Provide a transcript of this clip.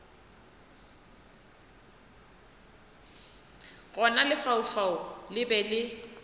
gona lefaufau le be le